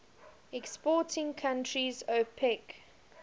exporting countries opec